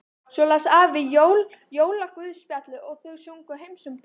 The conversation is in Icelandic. Svo las afi jólaguðspjallið og þau sungu Heims um ból.